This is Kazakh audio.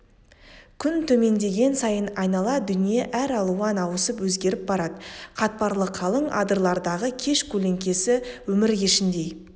күн төмендеген сайын айнала дүние әралуан ауысып өзгеріп барады қатпарлы қалың адырлардағы кеш көлеңкесі өмір кешіндей